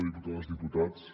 diputades i diputats